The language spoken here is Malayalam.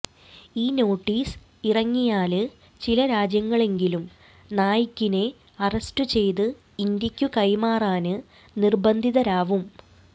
ഈ നോട്ടീസ് ഇറങ്ങിയാല് ചില രാജ്യങ്ങളെങ്കിലും നായിക്കിനെ അറസ്റ്റുചെയ്ത് ഇന്ത്യക്കു കൈമാറാന് നിര്ബന്ധിതരാവും